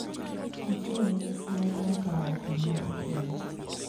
Ochiwo ne gi siem kuom kawo okang` ma ok ber